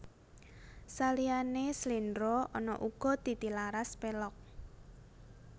Saliyane sléndro ana uga titilaras pélog